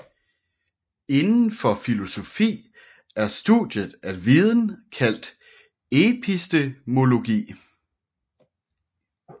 Indenfor filosofi er studiet af viden kaldt epistemologi